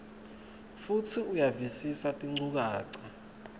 futsi uyavisisa tinchukaca